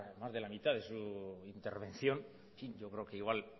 más de la mitad de su intervención yo creo que igual